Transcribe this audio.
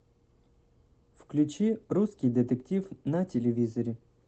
включи русский детектив на телевизоре